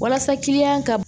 Walasa ka